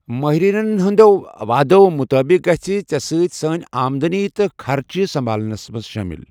ماہریٚنن ہُنٛد وادٕ مطٲبق گژھہِ ژےٚ سۭتۍ سٲنۍ آمدنی تہٕ خرچہِ سنبھال نَس منٛز شٲمِل۔